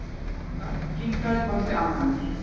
Örn kinkaði kolli ánægður.